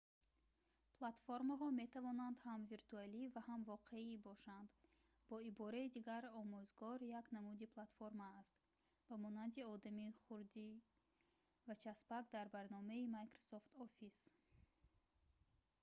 платформаҳо метавонанд ҳам виртуалӣ ва ҳам воқеӣ бошанд бо ибораи дигар омӯзгор як намуди платформа аст ба монанди одами хурди аз часпак дар барномаи microsoft office